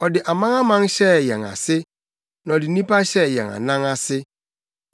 Ɔde amanaman hyɛɛ yɛn ase, na ɔde nnipa hyɛɛ yɛn anan ase.